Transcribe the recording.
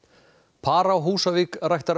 par á Húsavík ræktar